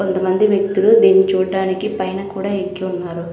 కొంత మంది వ్యక్తులు దీన్ని చూడ్డానికి పైన కూడా ఎక్కి ఉన్నారు.